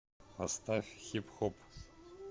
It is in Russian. поставь хип хоп